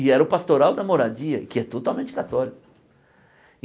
E era o pastoral da moradia, que é totalmente católico.